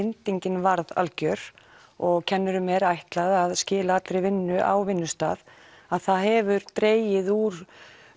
bindingin varð algjör og kennurum er ætlað að skila allri vinnu á vinnustað að það hefur dregið úr